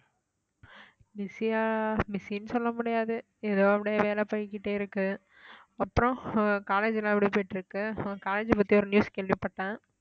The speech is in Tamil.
busy ஆ busy ன்னு சொல்ல முடியாது ஏதோ அப்படியே வேலை போய்க்கிட்டே இருக்கு அப்புறம் உங்க college எல்லாம் எப்படி போயிட்டிருக்கு உங்க college ஐ பத்தி ஒரு news கேள்விப்பட்டேன்